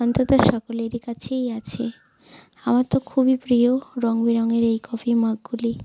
অন্তত সকলেরই কাছে আছে আমার তো খুবই প্রিয় রংবেরঙের এই কফি মগ গুলি ।